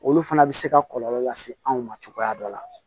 Olu fana bɛ se ka kɔlɔlɔ lase anw ma cogoya dɔ la